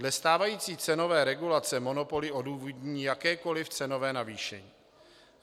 Dle stávající cenové regulace monopoly odůvodní jakékoli cenové navýšení.